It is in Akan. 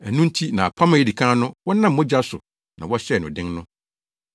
Ɛno nti na apam a edi kan no wɔnam mogya so na wɔhyɛɛ no den no.